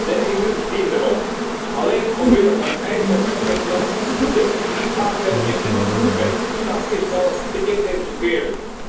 De EU dient daarom, alleen al omwille van eigen veiligheidsbelangen, de defensieve samenwerking met de staat Israël te intensiveren.